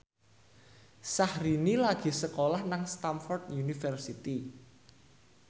Syahrini lagi sekolah nang Stamford University